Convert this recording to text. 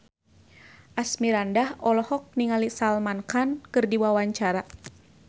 Asmirandah olohok ningali Salman Khan keur diwawancara